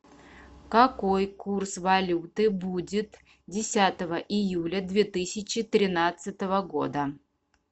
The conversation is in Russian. какой курс валюты будет десятого июля две тысячи тринадцатого года